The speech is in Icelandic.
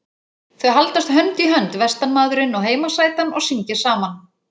Þau haldast hönd í hönd vestanmaðurinn og heimasætan og syngja saman.